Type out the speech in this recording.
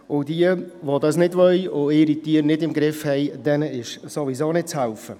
Denjenigen, die das nicht wollen und ihre Tiere nicht im Griff haben, ist ohnehin nicht zu helfen.